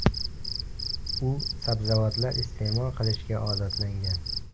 U sabzavotlar iste’mol qilishga odatlangan.